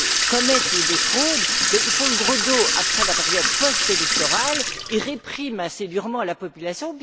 commettent des fraudes, ils font le gros dos après la période post électorale et répriment assez durement la population.